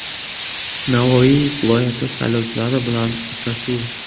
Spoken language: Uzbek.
Navoiy viloyati saylovchilari bilan uchrashuv.